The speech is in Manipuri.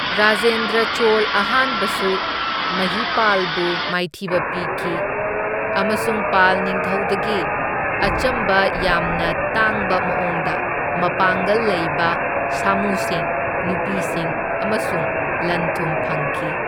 ꯔꯥꯖꯦꯟꯗ꯭ꯔ ꯆꯣꯜ ꯑꯍꯥꯟꯕꯁꯨ ꯃꯍꯤꯄꯥꯜꯕꯨ ꯃꯥꯏꯊꯤꯕ ꯄꯤꯈꯤ, ꯑꯃꯁꯨꯡ ꯄꯥꯜ ꯅꯤꯡꯊꯧꯗꯒꯤ ꯑꯆꯝꯕ ꯌꯥꯝꯅ ꯇꯥꯡꯕ ꯃꯑꯣꯡꯗ ꯃꯄꯥꯡꯒꯜ ꯂꯩꯕ ꯁꯥꯃꯨꯁꯤꯡ, ꯅꯨꯄꯤꯁꯤꯡ ꯑꯃꯁꯨꯡ ꯂꯟ ꯊꯨꯝ ꯐꯪꯈꯤ꯫